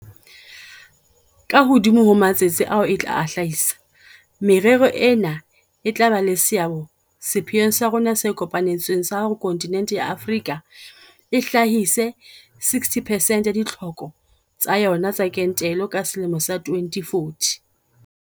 Ka hodimo ho matsetse ao e tla a hlahisa, merero ena e tla ba le seabo sepheong sa rona se kopa netsweng sa hore kontinente ya Afrika e hlahise 60 percent ya ditlhoko tsa yona tsa kentelo ka selemo sa 2040.